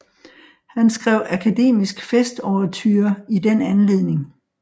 Han skrev Akademisk Festouverture i den anledning